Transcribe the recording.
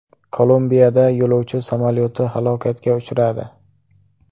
Kolumbiyada yo‘lovchi samolyoti halokatga uchradi.